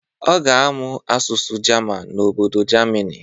Ọ ga-amụ asụsụ jaman n'obodo jamini.